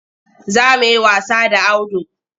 Za mu yi wasa da Audu.